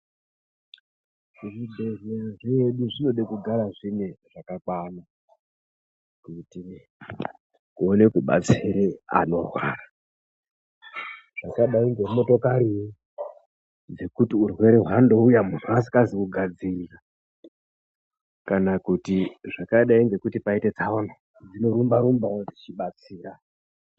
Zvibhedhleya zvedu zvinode kugara zvine zvakakwana kuitire kuone kubatsire anorwara. Zvakadai ngemotokari zvekuti urwere hwandouya muntu asikazi kugadzirira. Kana kuti zvakadai ngekuti paite tsaona dzinorumba-rumbawo dzichibatsira.